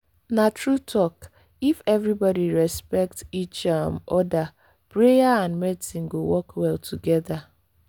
na true talk—if everybody respect each um other prayer and medicine go work well together.